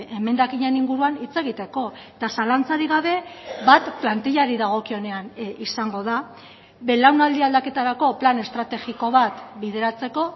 emendakinen inguruan hitz egiteko eta zalantzarik gabe bat plantilari dagokionean izango da belaunaldi aldaketarako plan estrategiko bat bideratzeko